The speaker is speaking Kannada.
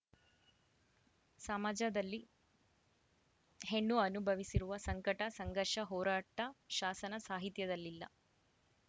ಸಮಾಜದಲ್ಲಿ ಹೆಣ್ಣು ಅನುಭವಿಸಿರುವ ಸಂಕಟ ಸಂಘರ್ಷ ಹೋರಾಟ ಶಾಸನ ಸಾಹಿತ್ಯದಲ್ಲಿಲ್ಲ